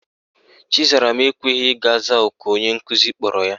Chizaram ekweghi ị gaa zaa oku onye nkuzi kpọrọ ya.